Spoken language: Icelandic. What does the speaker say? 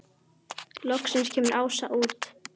Loksins kemur Ása út.